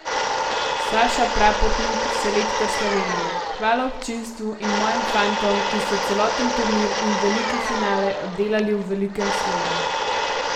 Saša Prapotnik, selektor Slovenije: "Hvala občinstvu in mojim fantom, ki so celoten turnir in veliki finale oddelali v velikem slogu.